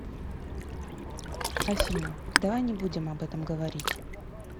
афина давай не будем об этом говорить